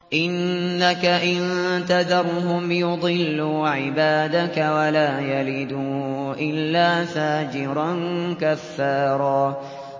إِنَّكَ إِن تَذَرْهُمْ يُضِلُّوا عِبَادَكَ وَلَا يَلِدُوا إِلَّا فَاجِرًا كَفَّارًا